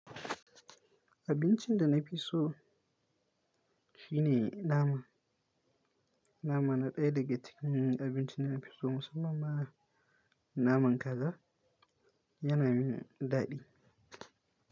Abincin da na fi so shine nama. Nama na ɗaya daga cikin abincin da na fi so musamman ma naman kaza. Yana min daɗi.